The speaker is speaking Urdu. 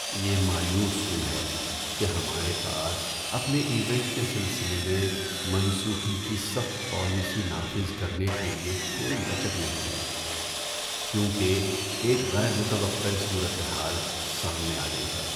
یہ مایوس کن ہے کہ ہمارے پاس اپنے ایونٹ کے سلسلے میں منسوخی کی سخت پالیسی نافذ کرنے کے لیے کوئی لچک نہیں ہے، کیونکہ ایک غیر متوقع صورت حال سامنے آ گئی ہے۔